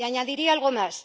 Y añadiría algo más.